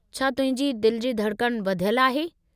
छा तुंहिंजे दिलि जी धड़कणु वधयलु आहे?